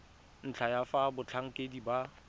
ntlha ya fa batlhankedi ba